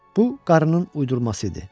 Bu qarının uydurması idi.